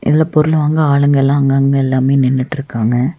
இதுல பொருள் வாங்க ஆளுங்கலா அங்கங்க எல்லாமே நின்னுட்டுருக்காங்க.